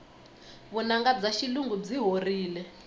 vunanga bya xilungu byi horile